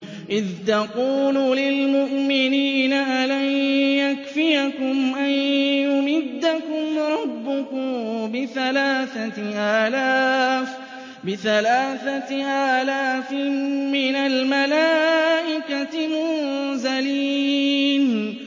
إِذْ تَقُولُ لِلْمُؤْمِنِينَ أَلَن يَكْفِيَكُمْ أَن يُمِدَّكُمْ رَبُّكُم بِثَلَاثَةِ آلَافٍ مِّنَ الْمَلَائِكَةِ مُنزَلِينَ